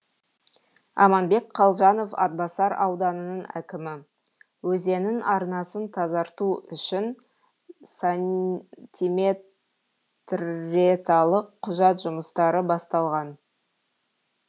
аманбек қалжанов атбасар ауданының әкімі өзеннің арнасын тазарту үшін сантиметреталық құжат жұмыстары басталған